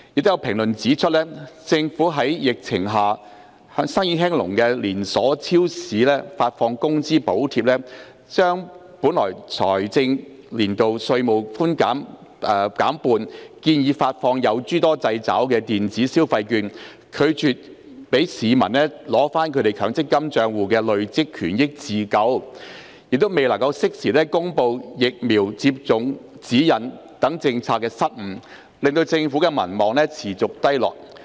有評論指出，政府向在疫情下生意興隆的連鎖超市發放工資補貼、將本財政年度稅務寬免減半、建議發放有諸多制肘的電子消費券、拒絕讓市民取回其強積金帳戶的累算權益自救、未能適時公布疫苗接種指引等政策失誤，令政府民望持續低落。